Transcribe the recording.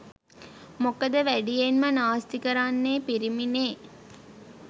මොකද වැඩියෙන්ම නාස්ති කරන්නේ පිරිමිනෙ